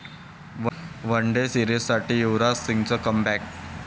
one day सीरिजसाठी युवराज सिंगचं comeback